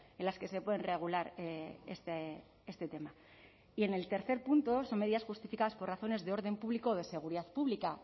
en las que se pueden regular este tema y en el tercer punto son medidas justificadas por razones de orden público o de seguridad pública